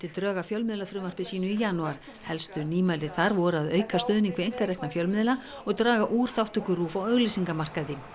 drög að fjölmiðlafrumvarpi sínu í janúar helstu nýmæli þar voru að auka stuðning við einkarekna fjölmiðla og draga úr þátttöku RÚV á auglýsingamarkaði